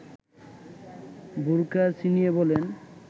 বোরখা ছিনিয়ে বলেন